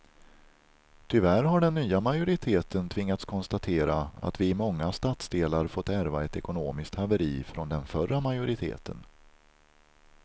Tyvärr har den nya majoriteten tvingats konstatera att vi i många stadsdelar fått ärva ett ekonomiskt haveri från den förra majoriteten.